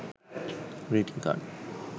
greeting card